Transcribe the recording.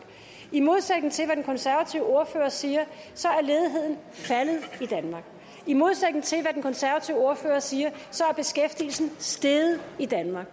i modsætning til hvad den konservative ordfører siger er ledigheden faldet i danmark i modsætning til hvad den konservative ordfører siger er beskæftigelsen steget i danmark